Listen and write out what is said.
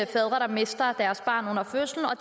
fædre der mister deres barn under fødslen og